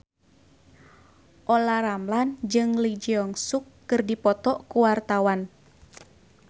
Olla Ramlan jeung Lee Jeong Suk keur dipoto ku wartawan